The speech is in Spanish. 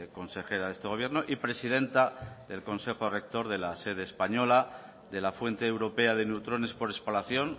consejera de este gobierno y presidenta del consejo rector de la sede española de la fuente europea de neutrones por espalación